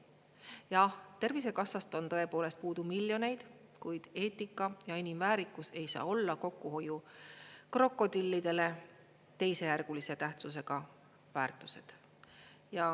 Jah, Tervisekassast on tõepoolest puudu miljoneid, kuid eetika ja inimväärikus ei saa olla kokkuhoiukrokodillidele teisejärgulise tähtsusega väärtused.